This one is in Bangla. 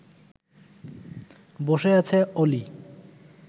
বসে আছে অলি